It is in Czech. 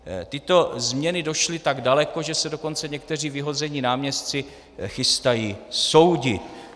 Tyto změny došly tak daleko, že se dokonce někteří vyhození náměstci chystají soudit.